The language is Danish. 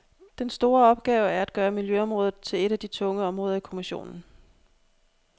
Den store opgave er at gøre miljøområdet til et af de tunge områder i kommissionen.